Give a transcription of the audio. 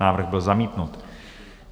Návrh byl zamítnut.